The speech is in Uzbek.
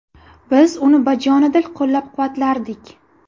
Biz uni bajonidil qo‘llab-quvvatlardik.